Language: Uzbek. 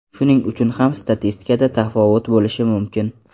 Shuning uchun ham statistikada tafovut bo‘lishi mumkin.